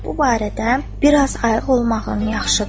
Bu barədə biraz ayıq olmağın yaxşıdır.